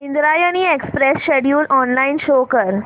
Indrayani express schedule online show कर